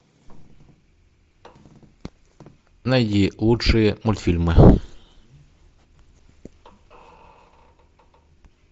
найди лучшие мультфильмы